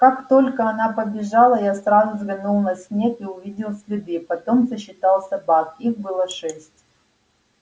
как только она побежала я сразу взглянул на снег и увидел следы потом сосчитал собак их было шесть